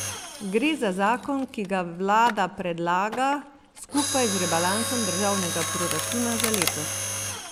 Gre za zakon, ki ga vlada predlaga skupaj z rebalansom državnega proračuna za letos.